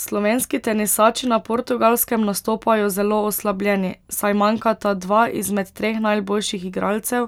Slovenski tenisači na Portugalskem nastopajo zelo oslabljeni, saj manjkata dva izmed treh najboljših igralcev,